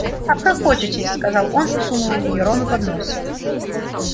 обхохочетесь сказал он и сунул её рону под нос